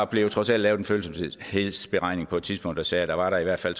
blev trods alt lavet en følsomhedsberegning på et tidspunkt der sagde at der i hvert fald